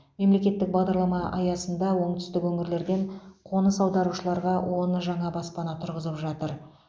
мемлекеттік бағдарлама аясында оңтүстік өңірлерден қоныс аударушыларға он жаңа баспана тұрғызып жатыр